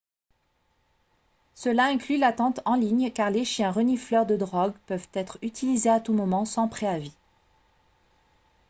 cela inclut l'attente en ligne car les chiens renifleurs de drogue peuvent être utilisés à tout moment sans préavis